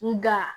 Nga